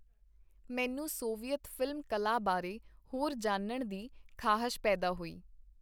ਮੈਨੂੰ ਸੋਵੀਅਤ ਫ਼ਿਲਮ-ਕਲਾ ਬਾਰੇ ਹੋਰ ਜਾਣਨ ਦੀ ਖਾਹਸ਼ ਪੈਦਾ ਹੋਈ.